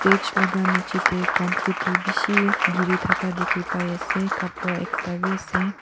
stage laga niche te comfeti bisi thaka dekhi pai ase kapara ekta bhi ase.